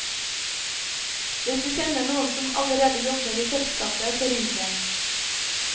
Hvis du kjenner noen som allerede jobber i selskapet, så ring dem.